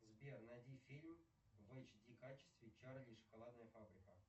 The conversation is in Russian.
сбер найди фильм в эйч ди качестве чарли и шоколадная фабрика